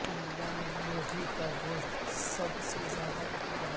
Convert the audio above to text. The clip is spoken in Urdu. انڈیا میں مرغی کا گوشت سب سے زیادہ مقبول ہے